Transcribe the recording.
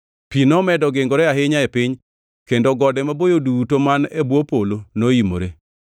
Pi nomedo gingore ahinya e piny, kendo gode maboyo duto man e bwo polo noimore.